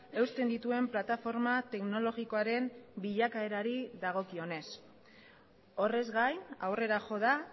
eusten dituen plataforma teknologikoaren bilakaerari dagokionez horrez gain aurrera jo da